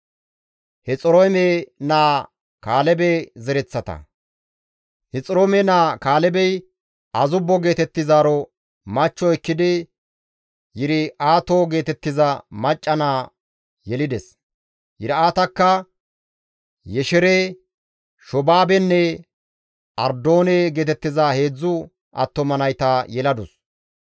Hexiroome naa Kaalebey Azubbo geetettizaaro machcho ekkidi Yir7aato geetettiza macca naa yelides; Yir7aatakka Yeshere, Shoobaabenne Ardoone geetettiza heedzdzu attuma nayta yeladus.